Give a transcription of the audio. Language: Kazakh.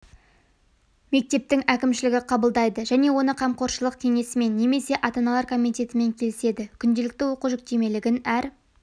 мектептің әкімшілігі қабылдайды және оны қамқоршылық кеңесімен немесе ата-аналар комитетімен келіседі күнделікті оқу жүктемелігін әр